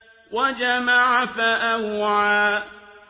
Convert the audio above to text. وَجَمَعَ فَأَوْعَىٰ